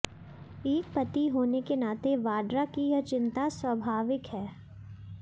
एक पति होने के नाते वाड्रा की यह चिंता स्वभाविक है